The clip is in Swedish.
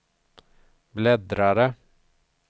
bläddrare